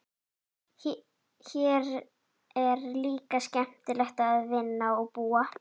Hér er líka skemmtilegt að vinna og búa.